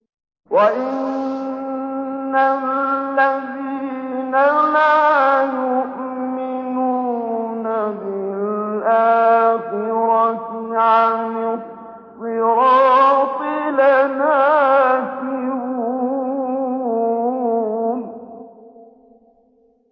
وَإِنَّ الَّذِينَ لَا يُؤْمِنُونَ بِالْآخِرَةِ عَنِ الصِّرَاطِ لَنَاكِبُونَ